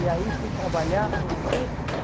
E aí fui trabalhar no